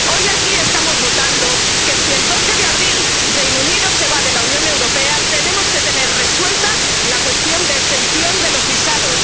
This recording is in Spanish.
Hoy aquí estamos votando que, si el 12 de abril, el Reino Unido se va de la Unión Europea, tenemos que tener resuelta la cuestión de exención de los visados.